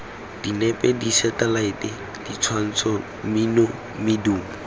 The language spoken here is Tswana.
dinepe diselaete ditshwantsho mmino medumo